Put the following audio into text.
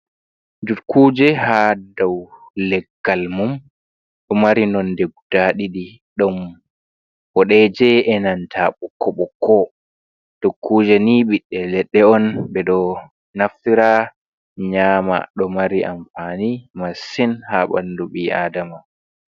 Dukkuje hadow leggal mum. Ɗo mari nonde guda ɗiɗi ɗon boɗeje e nanta bokko bokko. Dukkuje ni ɓiɓɓe leɗɗe on. Ɓeɗo naftira nyama ɗo mari anfani masin ha ɓandu ɓi adama.